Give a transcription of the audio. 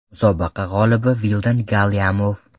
Musobaqa g‘olibi Vildan Galyamov.